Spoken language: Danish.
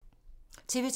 TV 2